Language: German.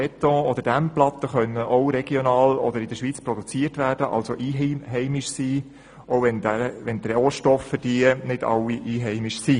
Beton- oder Dämmplatten können in der Schweiz produziert werden und somit als einheimisch gelten, auch wenn die verwendeten Rohstoffe nicht alle einheimisch sind.